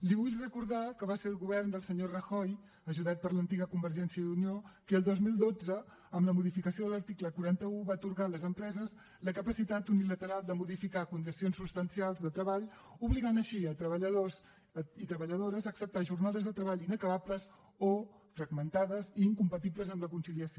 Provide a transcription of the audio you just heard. li vull recordar que va ser el govern del senyor rajoy ajudat per l’antiga convergència i unió qui el dos mil dotze amb la modificació de l’article quaranta un va atorgar a les empreses la capacitat unilateral de modificar condicions substancials de treball i obligava així treballadors i treballadores a acceptar jornades de treball inacabables o fragmentades i incompatibles amb la conciliació